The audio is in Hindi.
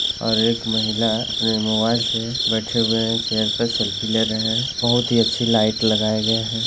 और एक महिला अपने मोबाइल से बैठे हुए है चेयर पे सेल्फी ले रहे है बहुत अच्छी लाइट लगाए गए है।